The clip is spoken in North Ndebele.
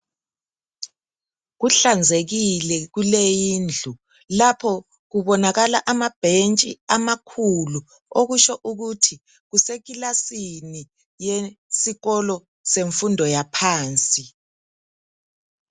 Kuhlanzekile kuley' indlu. Lapho kubonakala amabhentshi amakhulu okusho ukuthi kusekilasini yesikolo semfundo yaphansi.